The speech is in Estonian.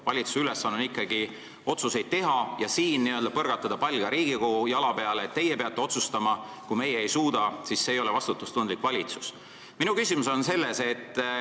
Valitsuse ülesanne on ikkagi otsuseid teha ja kui n-ö põrgatada pall Riigikogu jala peale, et teie peate otsustama, kui meie ei suuda, siis see valitsus ei ole vastutustundlik.